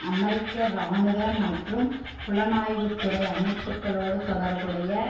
அமெரிக்க இராணுவ மற்றும் புலனாய்வு துறை அமைப்புக்களோடு தொடர்புடைய